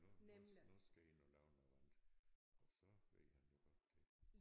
Nu nu nu skal jeg ind og lave noget andet og så ved han jo godt det